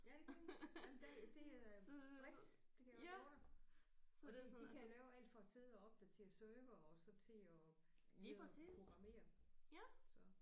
Ja det kan de jamen der det øh Brix det kan jeg godt love dig og de de kan lave alt fra at sidde og opdatere servere og så til at sidde og programmere så